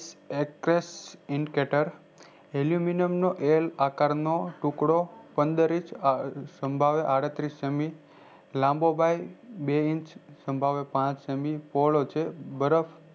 actress inketer aluminium નો L આકાર નો ટુકડો પંદર ઇંચ સંભાવે આદસ્ત્રીસ સેમી લાન્બોગાય બે ઇંચ સંભાવે પાંચ સેમી પોહ્ળો છે બરફ